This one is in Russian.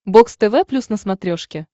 бокс тв плюс на смотрешке